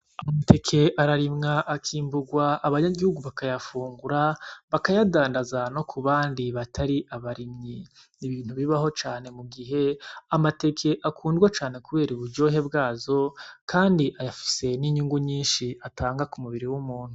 Amateke ararimwa, akimburwa abanyagihugu bakayafungura, bakayadandaza no ku bandi batari abarimyi. Ni ibintu bibaho cane mu gihe amateke akundwa cane kubera uburyohe bwazo kandi afise n'inyungu nyinshi atanga ku mubiri w'umuntu.